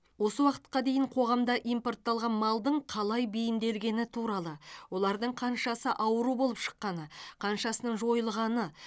осы уақытқа дейін қоғамда импортталған малдың қалай бейімделгені туралы олардың қаншасы ауру болып шыққаны қаншасының жойылғаны